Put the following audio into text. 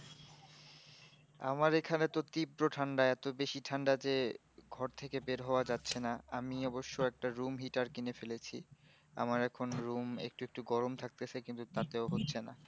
আমার এই খানে তো তীব্র ঠান্ডা এতো বেশি ঠান্ডা যে ঘর থেকে বের হওয়া যাচ্ছে না আমি অবশ্য একটা room heater কিনে ফেলেছি আমারভ এখন room একটু একটু গরম থাকতেসে কিন্তু তাতে ও হচ্ছে না